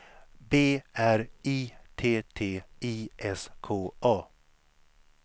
B R I T T I S K A